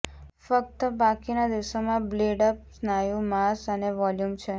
ફક્ત બાકીના દિવસોમાં બિલ્ડ અપ સ્નાયુ માસ અને વોલ્યુમ છે